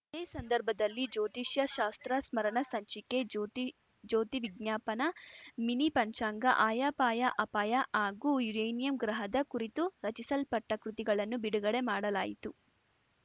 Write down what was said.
ಇದೇ ಸಂದರ್ಭದಲ್ಲಿ ಜ್ಯೋತಿಷ್ಯ ಶಾಸ್ತ್ರ ಸ್ಮರಣ ಸಂಚಿಕೆ ಜ್ಯೋತಿಜ್ಯೋತಿವಿಜ್ಞಾಪನ ಮಿನಿ ಪಂಚಾಂಗ ಆಯಪಾಯಅಪಾಯ ಹಾಗೂ ಯುರೇನಿಯಂ ಗ್ರಹದ ಕುರಿತು ರಚಿಸಲ್ಪಟ್ಟಕೃತಿಗಳನ್ನು ಬಿಡುಗಡೆ ಮಾಡಲಾಯಿತು